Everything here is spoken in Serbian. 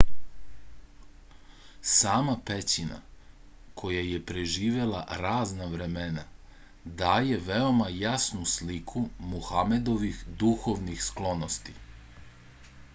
sama pećina koja je preživela razna vremena daje veoma jasnu sliku muhamedovih duhovnih sklonosti